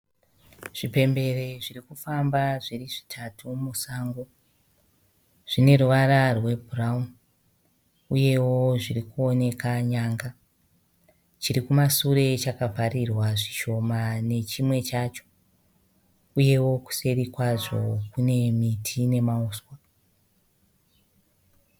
Zvipembere zvirikufamba zviri zvitatu musango. Zvine ruvara rwebhurauni uyewo zviri kuoneka nyanga . Chiri kumasure chakavharirwa zvishoma nechimwe chacho. Uyewo kuseri kwazvo kune miti nemauswa.